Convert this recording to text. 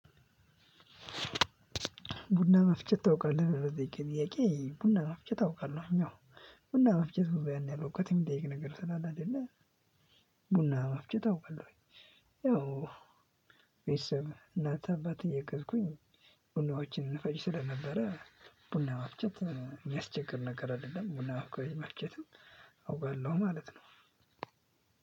ቡና መፍጨት ታውቃለህ ብለህ ለጠየከኝ ጥያቄ ቡና መፍጨት አውቃለሁኝ አዎ። ቡና መፍጨት ያን ያህል እውቀት የሚጠይቅ ነገር ስላለ አይደለ። ቡና መፍጨት አውቃለሁኝ። ያው ቤተሰብ እናት አባት እያገዝኩኝ ቡናዎችን እንፈጭ ስለነበረ። ቡና መፍጨት የሚያስቸግር ነገር አደለም ቡና መፍጨትም አውቃለው ማለት ነው።